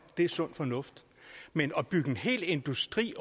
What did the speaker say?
det er sund fornuft men at bygge en hel industri